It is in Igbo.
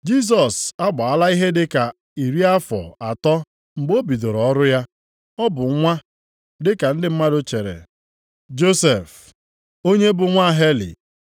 Jisọs agbaala ihe dị ka iri afọ atọ mgbe o bidoro ọrụ ya. Ọ bụ nwa (dịka ndị mmadụ chere) Josef, onye bụ nwa Heli;